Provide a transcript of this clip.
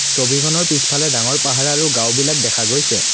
ছবিখনৰ পিছফালে ডাঙৰ পাহাৰ আৰু গাওঁ বিলাক দেখা গৈছে।